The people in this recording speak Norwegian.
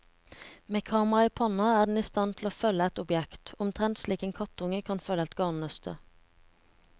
Med kameraet i pannen er den i stand til å følge et objekt, omtrent slik en kattunge kan følge et garnnøste.